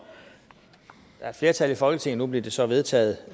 der er et flertal i folketinget nu blev det så vedtaget